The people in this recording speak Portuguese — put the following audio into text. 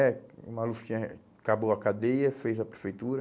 É, o maluco tinha... acabou a cadeia, fez a prefeitura.